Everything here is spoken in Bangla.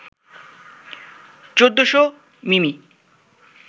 ১৪০০ মিমি